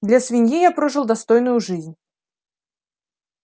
для свиньи я прожил достойную жизнь